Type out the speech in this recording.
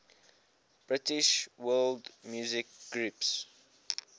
british world music groups